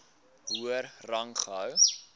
hoër rang gehou